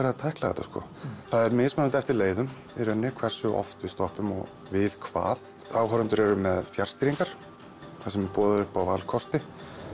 að tækla þetta það er mismunandi eftir leiðum hversu oft við stoppum og við hvað áhorfendur eru með fjarstýringar þar sem boðið er upp á valkosti